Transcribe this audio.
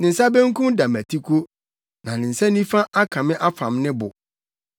Ne nsa benkum da mʼatiko, na ne nsa nifa aka me afam ne bo.